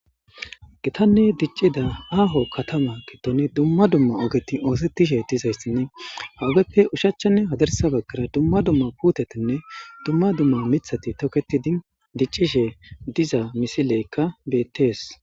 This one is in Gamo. Gitanne dicida aho katama gidon dumma dumma oget osetishe dizaysinne ha ogeppe oshichanne hadirsa bagara dumma dumma puutetinne mithat toketid dicishe diza misileyka betes.